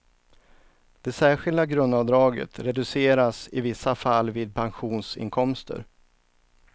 Det särskilda grundavdraget reduceras i vissa fall vid pensionsinkomster.